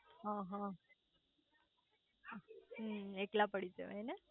અ હ હમ્મ એકલા પડી જવાય ને